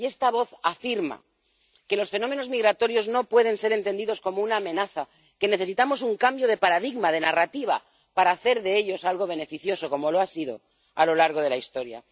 Y esta voz afirma que los fenómenos migratorios no pueden ser entendidos como una amenaza, que necesitamos un cambio de paradigma, de narrativa, para hacer de ellos algo beneficioso, como lo ha sido a lo largo de la historia.